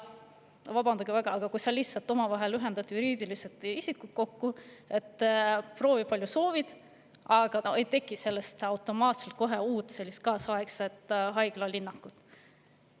Vabandage väga, kui sa ühendad omavahel juriidilised isikud, paned need kokku, siis proovi, palju soovid, aga ei teki sellest kohe uut kaasaegset haiglalinnakut.